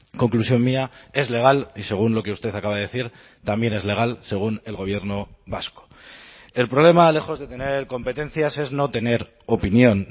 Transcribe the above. conclusión mía es legal y según lo que usted acaba de decir también es legal según el gobierno vasco el problema lejos de tener competencias es no tener opinión